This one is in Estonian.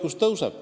Henn Põlluaas.